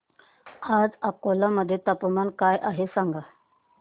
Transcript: आज अकोला मध्ये तापमान काय आहे सांगा